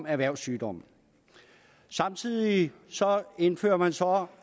erhvervssygdom samtidig indfører man så